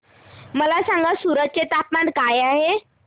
मला सांगा सूरत चे तापमान काय आहे